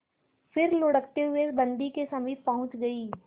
फिर लुढ़कते हुए बन्दी के समीप पहुंच गई